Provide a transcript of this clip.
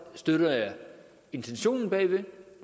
støtter jeg intentionen bag